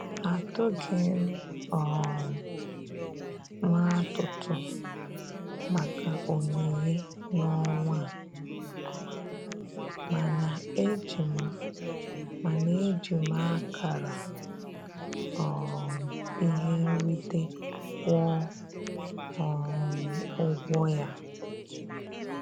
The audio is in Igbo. Atụghị um m atụmatụ maka onyinye n'ọnwa a, mana eji m mana eji m akara um ihe nrite kwụọ um ụgwọ ya.